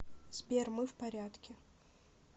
сбер мы в порядке